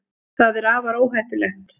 það er afar óheppilegt